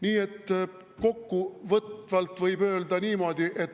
Nii et kokkuvõtvalt võib öelda niimoodi …